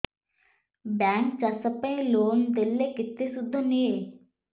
bank ଚାଷ ପାଇଁ loan ଦେଲେ କେତେ ସୁଧ ନିଏ